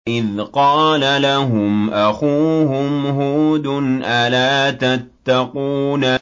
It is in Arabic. إِذْ قَالَ لَهُمْ أَخُوهُمْ هُودٌ أَلَا تَتَّقُونَ